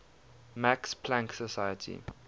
max planck society